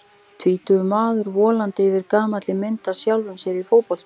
Tvítugur maðurinn volandi yfir gamalli mynd af sjálfum sér í fótboltabúningi.